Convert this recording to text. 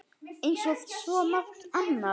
Eins og svo margt annað.